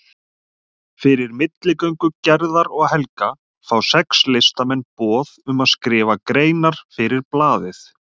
Fyrir milligöngu Gerðar og Helga fá sex listamenn boð um að skrifa greinar fyrir blaðið.